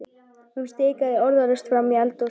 Hún stikaði orðalaust fram í eldhús.